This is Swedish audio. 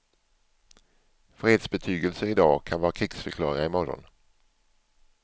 Fredsbetygelser i dag kan vara krigsförklaringar i morgon.